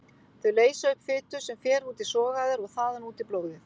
Þau leysa upp fitu sem fer út í sogæðar og þaðan út í blóðið.